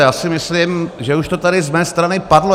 Já si myslím, že už to tady z mé strany padlo.